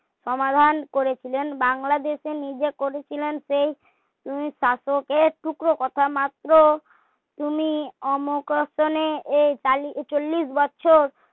সমাধান করেছিলেন বাংলাদেশের নিজে করেছিলেন সেই দিন শাসকের টুকরো কথা মাত্র তিনি এই চল্লিশ বছর